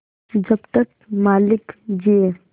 जब तक मालिक जिये